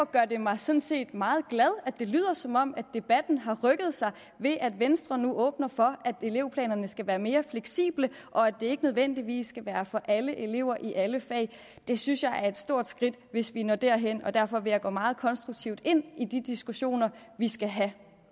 gør det mig sådan set meget glad at det lyder som om debatten har rykket sig ved at venstre nu åbner for at elevplanerne skal være mere fleksible og at det ikke nødvendigvis skal være for alle elever i alle fag det synes jeg er et stort skridt hvis vi når derhen og derfor vil jeg gå meget konstruktivt ind i de diskussioner vi skal have